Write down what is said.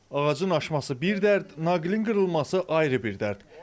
Ağacın aşması bir dərd, naqilin qırılması ayrı bir dərd.